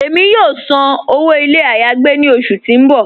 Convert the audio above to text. Ẹ̀mi yóò sàn owó ilẹ̀ ayé-agbè ni ọṣù tí n bọ́.